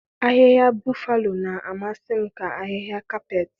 Ahịhịa buffalo na-amasị m ka ahịhịa kapet.